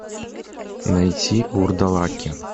найти вурдалаки